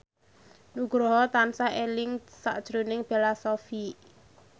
Nugroho tansah eling sakjroning Bella Shofie